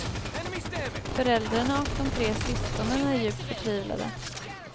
Föräldrarna och de tre syskonen är djupt förtvivlade.